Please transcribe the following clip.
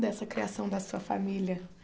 Dessa criação da sua família.